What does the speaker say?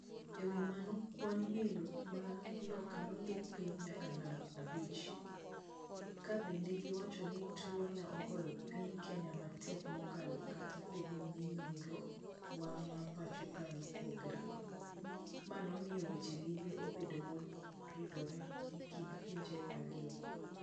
"Ewi mano kwan welo maa loka nodok piny nyaka namba abich. Kabende giwacho ni tuo ne ogoyo piny Kenya matek mokalo kata bed ninonro wa ma pacho ka neopogore. Ma nomiyo weche limbe obedo moridore ekind pinje ario go.